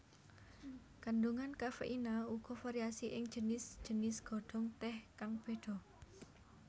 Kandungan kafeina uga variasi ing jinis jinis godhong teh kang beda